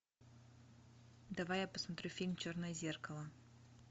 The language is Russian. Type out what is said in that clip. давай я посмотрю фильм черное зеркало